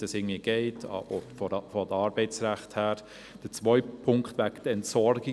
Der zweite Punkt betrifft die Entsorgung.